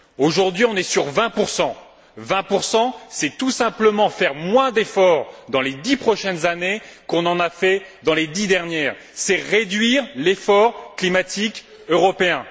Aujourd'hui, on en est à un objectif de 20 Mais, 20 c'est tout simplement faire moins d'efforts dans les dix prochaines années qu'on en a fait dans les dix dernières, c'est réduire l'effort climatique européen.